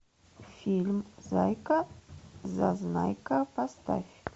фильм зайка зазнайка поставь